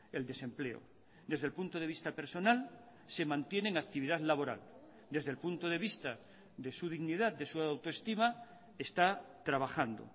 el desempleo desde el punto de vista personal se mantiene en actividad laboral desde el punto de vista de su dignidad de su autoestima está trabajando